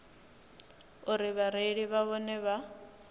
uri vhareili na vhone vha